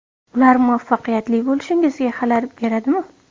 Ular muvaffaqiyatli bo‘lishingizga xalal beradimi?